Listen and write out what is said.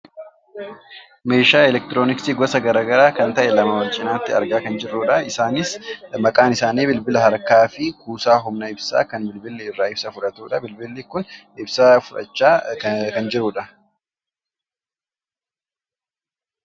Meeshaa elektirooniksi gosa gara garaa kan ta'e lama wal cinaatti argaa kan jirrudha. Isaanis maqaan isaanii bilbila harkaafi kuusaa humna ibsaa kan bilbilli irraa ibsaa fudhatudha. Bilbilli kun ibsaa fudhachaa kan jirudha.